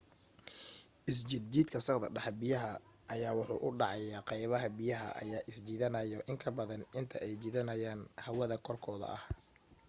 isjijiidka sagxadda biyaha ayaa wuxuu u dhacaa qaybaha biyaha ayaa isjiidanaayo in ka badan inta ay jiidanayaan hawada korkooda ah